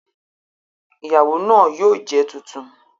Ìyàwó náà yóò jẹ tuntun